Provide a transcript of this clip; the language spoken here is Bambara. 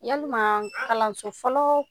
Yalima kalanso fɔlɔ